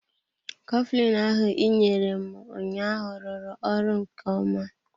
Coflin ahụ ị nyere m ụnyaahụ rụrụ ọrụ nke ọma.